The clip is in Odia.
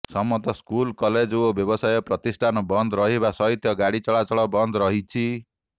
ସମସ୍ତ ସ୍କୁଲ କଲେଜ ଓ ବ୍ୟବସାୟ ପ୍ରତିଷ୍ଠାନ ବନ୍ଦ ରହିବା ସହିତ ଗାଡି ଚଳାଚଳ ବନ୍ଦ ରହିଛି